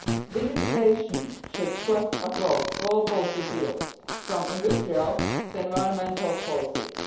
Digitisation should cut across all policy fields, from industrial to environmental policies.